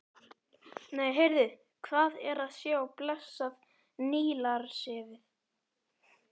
Nei, heyrðu, hvað er að sjá blessað Nílarsefið!